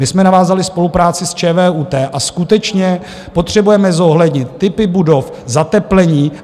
My jsme navázali spolupráci s ČVUT a skutečně potřebujeme zohlednit typy budov, zateplení.